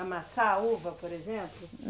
Amassar uva, por exemplo?